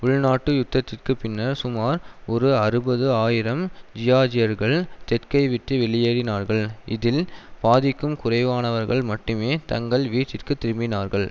உள்நாட்டு யுத்தத்திற்கு பின்னர் சுமார் ஒரு அறுபது ஆயிரம் ஜியார்ஜியர்கள் தெற்கை விட்டு வெளியேறினார்கள் இதில் பாதிக்கும் குறைவானவர்கள் மட்டுமே தங்கள் வீட்டிற்கு திரும்பினார்கள்